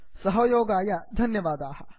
सहयोगाय धन्यवादाः